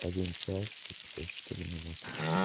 один час пятьдесят четыре минуты